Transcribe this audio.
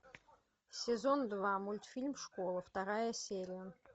сезон два мультфильм школа вторая серия